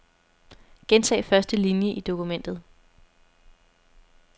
Gentag første linie i dokumentet.